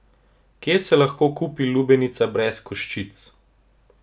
Kje se lahko kupi lubenica brez koščic?